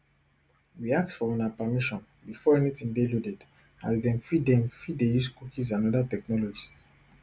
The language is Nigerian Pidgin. we ask for una permission before anytin dey loaded as dem fit dem fit dey use cookies and oda technologies